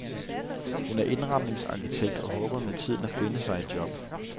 Hun er indretningsarkitekt og håber med tiden at finde sig et job.